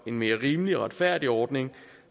en mere rimelig og retfærdig ordning